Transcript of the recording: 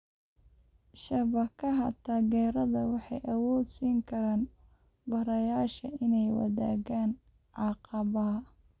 Shabakadaha taageerada waxay awood siin karaan barayaasha inay wadaagaan caqabadaha.